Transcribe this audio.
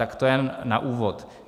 Tak to jenom na úvod.